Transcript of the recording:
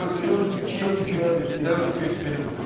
4-3 4-2-3-1, 4-2-3-1-i qururuq.